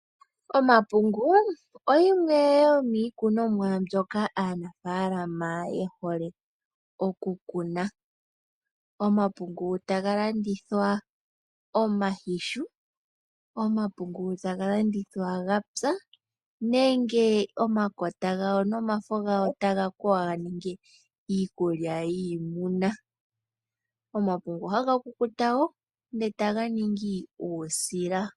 Omapungu oyo yimwe yomiikunomwa ndjoka aanafalama yehole okukuna. Omapungu taga landithwa omayihu, omapungu taga landithwa gapya nenge omafo nomakota taga kwewa ganinge iikulya yiimuna, omapungu haga kukuta etaganingwa uusila.